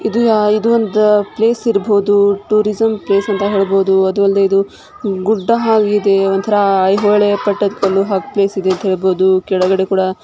ಇದು ಇದು ಒಂದು ಪ್ಲೇಸ್ ಇರಬಹುದು ಟೂರಿಸಂ ಪ್ಲೇಸ್ ಅಂತ ಹೇಳಬಹುದು ಅದು ಅಲ್ಲದೆ ಇದು ಗುಡ್ಡಹಾಗಿದೆ ಒಂಥರಾ ಐಹೊಳೆ ಪಟ್ಟದಕಲ್ಲು ಹಾಗ್ ಪ್ಲೇಸ್ ಇದೆ ಅಂತ ಹೇಳಬಹುದು ಕೆಳಗಡೆ ಕೂಡ --